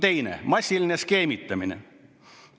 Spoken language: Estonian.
Teiseks: massiline skeemitamine.